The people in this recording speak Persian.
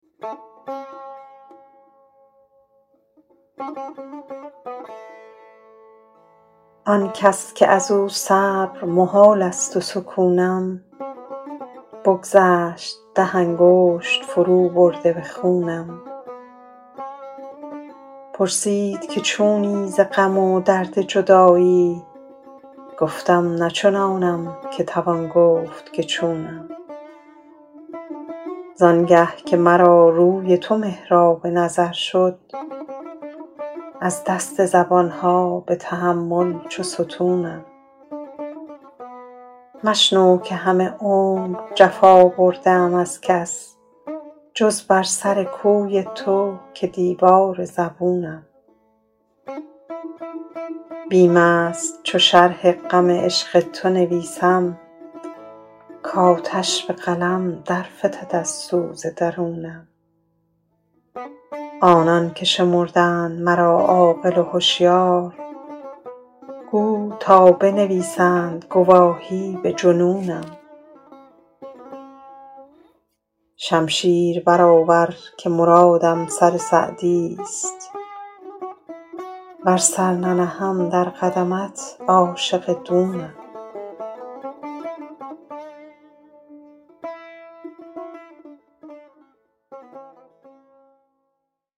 آن کس که از او صبر محال است و سکونم بگذشت ده انگشت فروبرده به خونم پرسید که چونی ز غم و درد جدایی گفتم نه چنانم که توان گفت که چونم زان گه که مرا روی تو محراب نظر شد از دست زبان ها به تحمل چو ستونم مشنو که همه عمر جفا برده ام از کس جز بر سر کوی تو که دیوار زبونم بیم است چو شرح غم عشق تو نویسم کآتش به قلم در فتد از سوز درونم آنان که شمردند مرا عاقل و هشیار کو تا بنویسند گواهی به جنونم شمشیر برآور که مرادم سر سعدیست ور سر ننهم در قدمت عاشق دونم